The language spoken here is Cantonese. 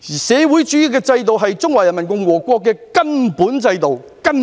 社會主義制度是中華人民共和國的根本制度。